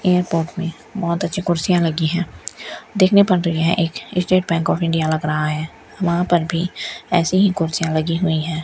Airport में बहुत अच्छी कुर्सियां लगी हैं देखने पर भी यह एक स्टेट बैंक ऑफ इंडिया लग रहा है वहां पर भी ऐसी ही कुर्सियां लगी हुई है।